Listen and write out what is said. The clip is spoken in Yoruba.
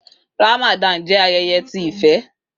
Ramadan jẹ ayẹyẹ ti ifẹ.